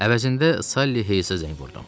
Əvəzində Sally Hayesə zəng vurdum.